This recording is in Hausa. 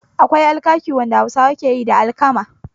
Akwai alkaki wanda Hausawa keyi da alkama